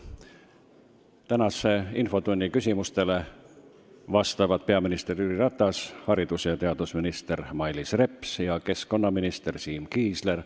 Tänase infotunni küsimustele vastavad peaminister Jüri Ratas, haridus- ja teadusminister Mailis Reps ning keskkonnaminister Siim Kiisler.